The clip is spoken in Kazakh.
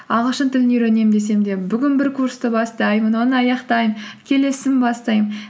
ағылшын тілін үйренемін десем де бүгін бір курсты бастаймын оны аяқтаймын келесісін бастаймын